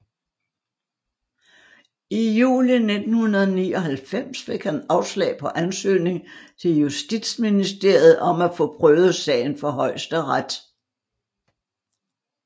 I juli 1999 fik han afslag på ansøgning til Justitsministeriet om at få prøvet sagen for Højesteret